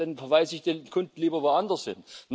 Dann verweisen sie den Kunden lieber woanders hin.